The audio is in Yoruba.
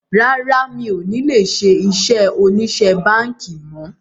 Rárá, mi ò ní lè ṣe iṣẹ́ òṣìṣẹ́ báńkì mọ̀